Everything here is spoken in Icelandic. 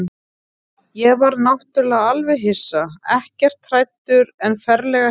Ég varð náttúrlega alveg hissa, ekkert hræddur en ferlega hissa.